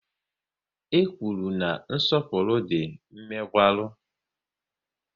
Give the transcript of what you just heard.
E kwụrụ na nsọpụrụ dị mmegwara